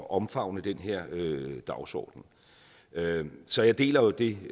at omfavne den her dagsorden så jeg deler jo det